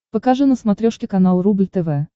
покажи на смотрешке канал рубль тв